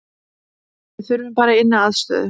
Við þurfum bara inniaðstöðu